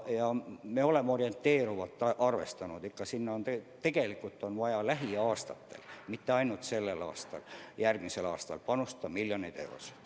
Ja me oleme arvestanud, et sinna on lähiaastatel – mitte ainult sellel aastal, vaid ka järgmisel aastal –vaja panustada ikkagi miljoneid eurosid.